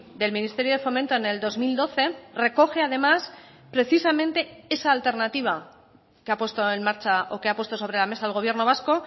del ministerio de fomento en el dos mil doce recoge además precisamente esa alternativa que ha puesto en marcha o que ha puesto sobre la mesa el gobierno vasco